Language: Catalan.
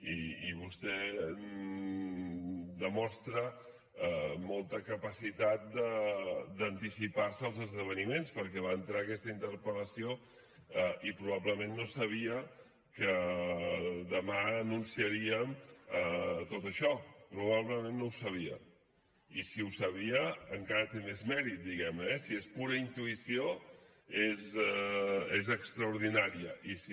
i vostè demostra molta capacitat d’anticipar se als esdeveniments perquè va entrar aquesta interpel·lació i probablement no sabia que demà anunciaríem tot això probablement no ho sabia i si ho sabia encara té més mèrit diguem ne eh si és pura intuïció és extraordinària i si no